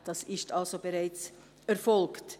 Das ist also bereits erfolgt.